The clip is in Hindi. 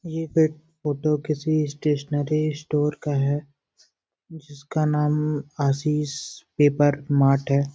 ये पेप फोटो किसी स्टेशनरी स्टोर का है जिसका नाम आशीष पेपर मार्ट है।